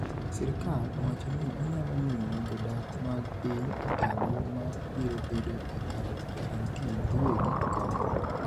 Sirkal owacho ni onyalo miyo jodak mag piny Italy ma biro bedo e karantin giwegi kony.